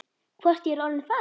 Hvort er ég orðinn faðir?